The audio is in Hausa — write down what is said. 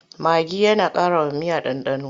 Magi yana ƙarawa miya ɗanɗano.